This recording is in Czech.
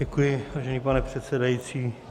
Děkuji, vážený pane předsedající.